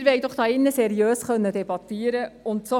Wir wollen doch hier drinnen seriös debattieren können.